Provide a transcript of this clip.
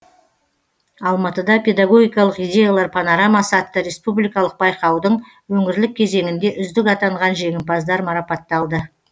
алматыда педагогикалық идеялар панорамасы атты республикалық байқаудың өңірлік кезеңінде үздік атанған жеңімпаздар марапатталды